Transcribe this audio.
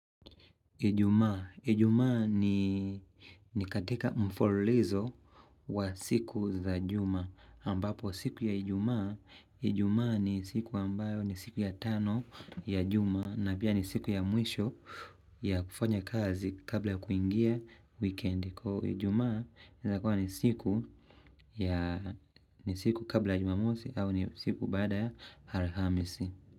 Ijumaa. Ijumaa ni katika mfolizo wa siku za juma ambapo siku ya ijumaa. Ijumaa ni siku ambayo ni siku ya tano ya juma na pia ni siku ya mwisho ya kufanya kazi kabla kuingia wikendi. Kwa ijumaa inaweza kuwa ni siku ya ni siku kabla ya jumamosi au ni siku baada ya alhamisi.